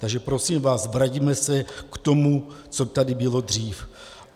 Takže prosím vás, vraťme se k tomu, co tady bylo dříve.